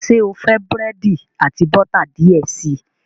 Ṣe o fẹ búrẹ́di ati bota diẹ sii?